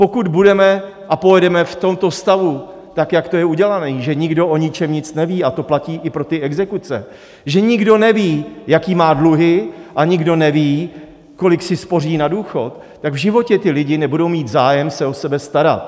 Pokud budeme a pojedeme v tomto stavu, tak jak to je udělané, že nikdo o ničem nic neví, a to platí i pro ty exekuce, že nikdo neví, jaké má dluhy, a nikdo neví, kolik si spoří na důchod, tak v životě ti lidé nebudou mít zájem se o sebe starat.